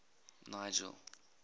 nigel